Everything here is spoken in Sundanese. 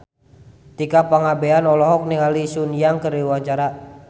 Tika Pangabean olohok ningali Sun Yang keur diwawancara